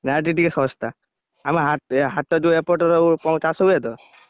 ନା ଏଇଠି ଟିକେ ଶସ୍ତା। ଆମ ହାଟ ହାଟ ଯୋଉ ଏପଟର ଚାଷ ହୁଏ ତ ।